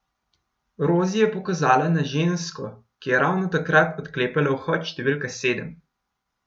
Rozi je pokazala na žensko, ki je ravno takrat odklepala vhod številka sedem.